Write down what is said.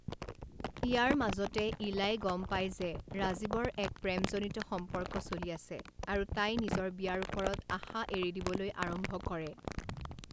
ইয়াৰ মাজতে ইলাই গম পায় যে ৰাজীৱৰ এক প্ৰেমজনিত সম্পৰ্ক চলি আছে আৰু তাই নিজৰ বিয়াৰ ওপৰত আশা এৰি দিবলৈ আৰম্ভ কৰে।